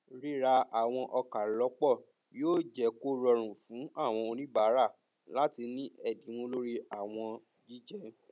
ríra àwọn ọkà lọpọ yóò jé kó rọrùn fún àwọn oníbàárà láti ní ẹdinwo lórí àwọn jíjẹ